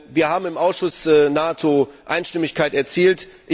Wir haben im Ausschuss nahezu Einstimmigkeit erzielt.